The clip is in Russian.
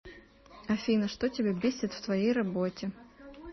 афина что тебя бесит в твоей работе